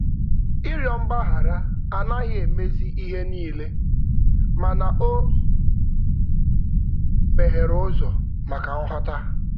Ịrịọ mgbaghara anaghị emezi ihe niile, mana o meghere ụzọ maka nghọta.